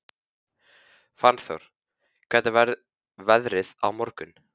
Fannþór, hvernig verður veðrið á morgun?